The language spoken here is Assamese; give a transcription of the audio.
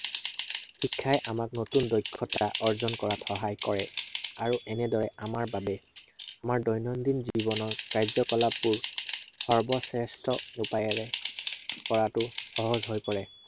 শিক্ষাই আমাক নতুন দক্ষতা অৰ্জন কৰাত সহায় কৰে। আৰু এনেদৰে আমাৰ বাবে আমাৰ দৈনন্দিন জীৱনৰ কাৰ্যকালাপবোৰ সৰ্বশ্ৰেষ্ঠ উপায়েৰে কৰাতো সহজ হৈ পৰে।